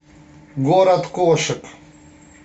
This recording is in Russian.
город кошек